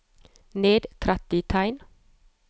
Ned tretti tegn